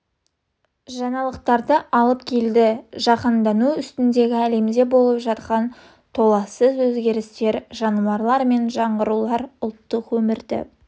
жаңалықтарды алып келді жаһандану үстіндегі әлемде болып жатқан толассыз өзгерістер жаңарулар мен жаңғырулар ұлттық өмірді